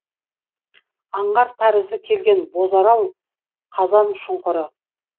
аңғар тәрізді келген бозарал қазаншұңқыры